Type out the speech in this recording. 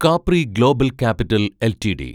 Capri Global Capital LTD